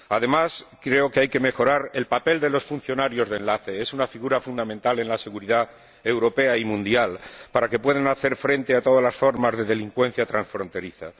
Además, creo que hay que mejorar el papel de los funcionarios de enlace —es una figura fundamental en la seguridad europea y mundial—, para que puedan hacer frente a todas las formas de delincuencia transfronteriza.